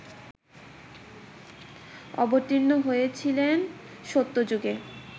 অবতীর্ণ হয়েছিলেন সত্যযুগে